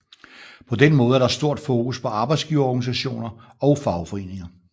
På den måde er der stort fokus på arbejdsgiverorganisationer og fagforeninger